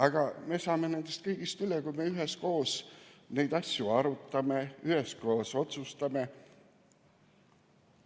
Aga me saame nendest kõigist üle, kui me üheskoos neid asju arutame ja üheskoos otsustame.